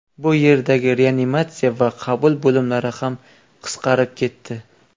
Bu yerdagi reanimatsiya va qabul bo‘limlari ham qisqarib ketdi.